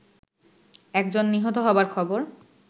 একজন নিহত হবার খবর